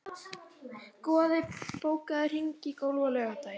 Goði, bókaðu hring í golf á laugardaginn.